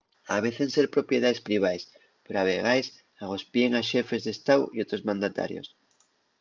avecen ser propiedaes privaes pero a vegaes agospien a xefes d'estáu y otros mandatarios